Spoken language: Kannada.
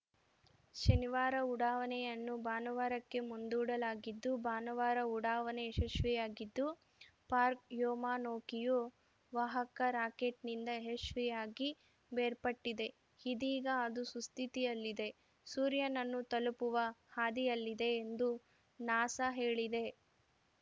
ಶನಿವಾರ ಉಡಾವಣೆಯನ್ನು ಭಾನುವಾರಕ್ಕೆ ಮುಂದೂಡಲಾಗಿದ್ದು ಭಾನುವಾರ ಉಡಾವಣೆ ಯಶಸ್ವಿಯಾಗಿದ್ದು ಪಾರ್ಕ ವ್ಯೋಮನೌಕೆಯು ವಾಹಕ ರಾಕೆಟ್‌ನಿಂದ ಯಶಸ್ವಿಯಾಗಿ ಬೇರ್ಪಟ್ಟಿದೆ ಇದೀಗ ಅದು ಸುಸ್ಥಿತಿಯಲ್ಲಿದೆ ಸೂರ್ಯನನ್ನು ತಲುಪುವ ಹಾದಿಯಲ್ಲಿದೆ ಎಂದೂ ನಾಸಾ ಹೇಳಿದೆ